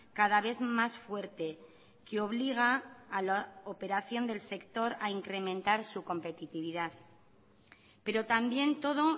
cada vez más fuerte que obliga a la operación del sector a incrementar su competitividad pero también todo